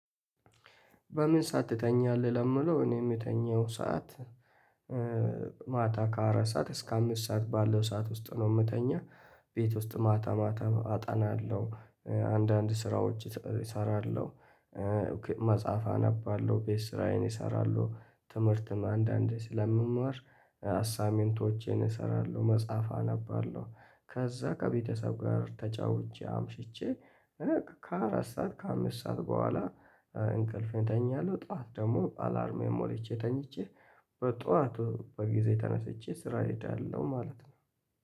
በምን ሰዓት ትተኛለህ? ለሚለው እኔ ምተኛው ሰዓት ማታ ከአራት ሰዓት እስከ አምስት ሰዓት ባለው ሰዓት ውስጥ ነው ምተኛ። ቤት ውስጥ ማታ ማታ አጠናለሁ አንዳንድ ስራዎች እሰራለሁ። መጽሐፍ አነባለሁ ቤት ስራዬን እሰራለሁ ትምህርትም አንዳንዴ ስለምማር ዓሳይመንቶቼን እሰራለሁ መጽሐፍ አነባለሁ። ከዛ ከቤተሰብ ጋር ተጫውቼ አምሽቼ። ከአራት ሰዓት ከአምስት ሰዓት በኋላ እንቅልፌን እተኛለሁ። ጠዋት ደግሞ አላርሜን ሞልቸ ተኝቼ በጠዋቱ በጊዜ ተነስቼ ስራ እሄዳለሁ። ማለት ነው